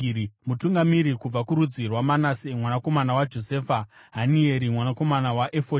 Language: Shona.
Mutungamiri kubva kurudzi rwaManase mwanakomana waJosefa, Hanieri mwanakomana waEfodhi;